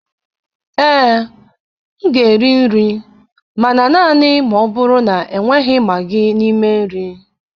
Ee, m ga-eri nri, mana naanị ma ọ bụrụ na enweghị Maagị n'ime nri.